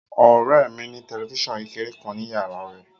Ọ̀rẹ́ ẹ mi ní tẹ̀lifísàn kékeré kan ni yàrá á rẹ̀